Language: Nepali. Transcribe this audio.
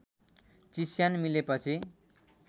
चिस्यान मिलेपछि